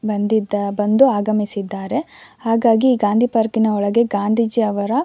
ಬಂದಿದ್ದ್ ಬಂದು ಆಗಮಿಸಿದ್ದಾರೆ ಹಾಗಾಗಿ ಗಾಂಧಿ ಪಾರ್ಕಿನ ಒಳಗೆ ಗಾಂಧೀಜಿ ಅವರ --